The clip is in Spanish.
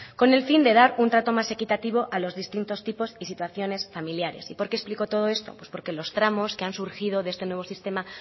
con el fin de dar un trato más equitativo a los distintos tipos y situaciones familiares y por qué explico todo esto pues porque los tramos que han surgido de este nuevo sistema